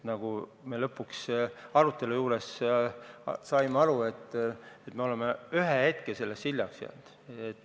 Nagu me lõpuks arutelul aru saime, me oleme sellega hiljaks jäänud.